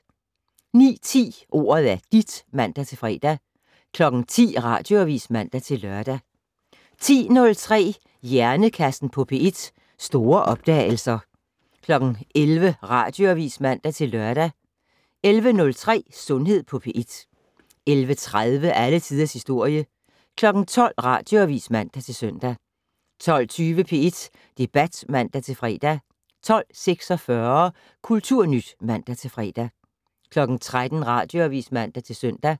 09:10: Ordet er dit (man-fre) 10:00: Radioavis (man-lør) 10:03: Hjernekassen på P1: Store opdagelser 11:00: Radioavis (man-lør) 11:03: Sundhed på P1 11:30: Alle tiders historie 12:00: Radioavis (man-søn) 12:20: P1 Debat (man-fre) 12:46: Kulturnyt (man-fre) 13:00: Radioavis (man-søn)